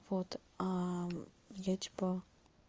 вот а я типа